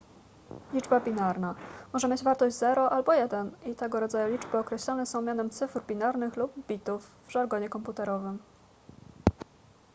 liczba binarna może mieć wartość 0 albo 1 i tego rodzaju liczby określane są mianem cyfr binarnych lub bitów w żargonie komputerowym